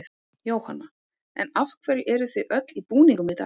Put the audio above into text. Jóhanna: En af hverju eruð þið öll í búningum í dag?